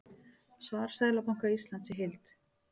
Svar Seðlabanka Íslands í heild